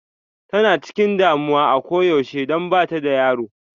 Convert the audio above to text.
Tana chikin damuwa a koyaushe don bata da yaro.